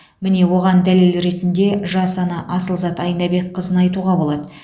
міне оған дәлел ретінде жас ана асылзат айнабекқызын айтуға болады